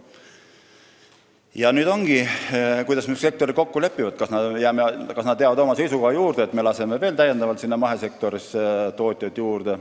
Ja nüüd ongi küsimus, kuidas sektorid kokku lepivad – kas nad jäävad oma seisukoha juurde, et me laseme mahesektorisse veel tootjaid juurde.